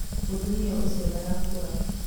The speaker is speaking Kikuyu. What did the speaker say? mũtumia ũcio ndarakũra